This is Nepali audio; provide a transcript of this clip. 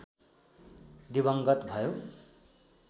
दिवङ्गत भयो